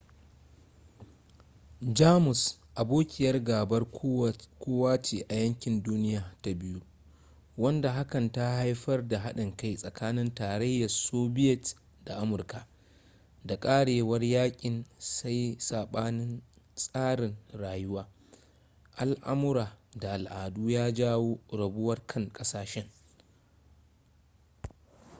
jamus abokiyar gabar kowa ce a yakin duniya ta 2 wanda hakan ta haifar da haɗin kai tsakanin tarayyar sobiyet da amurka da ƙarewar yakin sai sabanin tsarin rayuwa al'amura da al'adu ya jawo rabuwar kan ƙasashen